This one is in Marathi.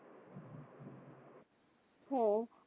हो